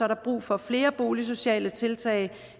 der brug for flere boligsociale tiltag